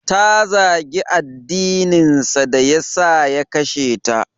Ta zagi addininsa da ya sa ya kashe ta.